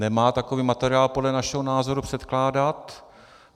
Nemá takový materiál podle našeho názoru předkládat.